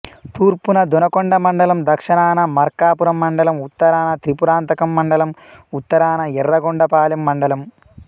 తూర్పున దొనకొండ మండలం దక్షణాన మార్కాపురం మండలం ఉత్తరాన త్రిపురాంతకం మండలం ఉత్తరాన యర్రగొండపాలెం మండలం